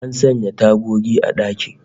An sanya tagogi a dakin